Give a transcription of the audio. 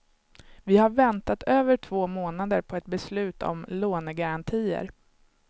Vi har väntat över två månader på ett beslut om lånegarantier.